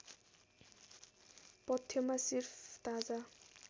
पथ्यमा सिर्फ ताजा